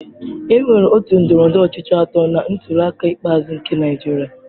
Enwere otu ndọrọndọrọ ọchịchị atọ na ntuliaka ikpeazụ nke Naịjirịa.